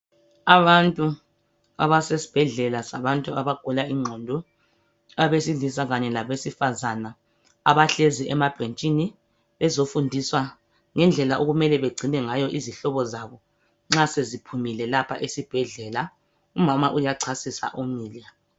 Abantu abasesibhedlela sabantu abagula ingqondo abesilisa kanye labesifazana, abahlezi emabhentshini bezofundiswa ngendlela okumele begcine ngayo izihlobo zabo nxa seziphumile lapha esibhedlela, umama uyachasisa umile.